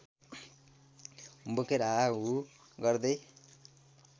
बोकेर हाहाहुहु गर्दै